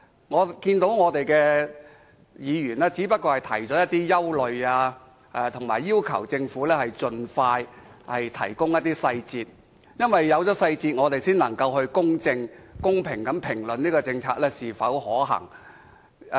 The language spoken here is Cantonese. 我們的議員只是提出了一些憂慮，以及要求政府盡快提供細節。因為有了細節，我們才能公正及公平地評論這項政策是否可行。